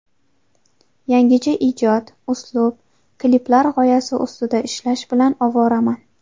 Yangicha ijod, uslub, kliplar g‘oyasi ustida ishlash bilan ovoraman.